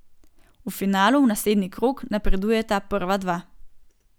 V finalu v naslednji krog napredujeta prva dva.